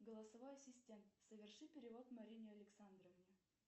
голосовой ассистент соверши перевод марине александровне